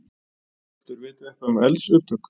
Hjörtur: Vitið þið eitthvað um eldsupptök?